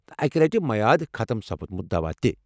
اکہ لٹہ میعاد ختم سپُدمُت دوا تہ۔